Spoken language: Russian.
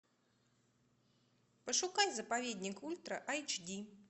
пошукай заповедник ультра айч ди